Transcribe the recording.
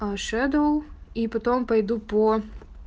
аа шэдоу и потом пойду по